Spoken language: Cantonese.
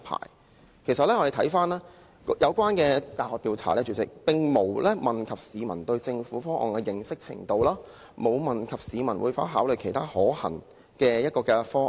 主席，其實我們看到有關的大學調查，當中並無問及市民對政府方案的認識程度，亦沒有問及市民會否考慮其他可行方案。